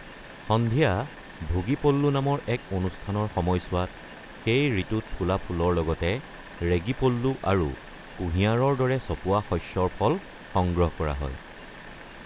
সন্ধিয়া, ভোগী পল্লু নামৰ এক অনুষ্ঠানৰ সময়ছোৱাত, সেই ঋতুত ফুলা ফুলৰ লগতে ৰেগি পল্লু আৰু কুঁহিয়াৰৰ দৰে চপোৱা শস্যৰ ফল সংগ্ৰহ কৰা হয়।